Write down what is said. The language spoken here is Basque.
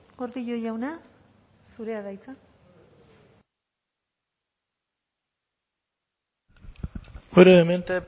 gordillo jauna zurea da hitza brevemente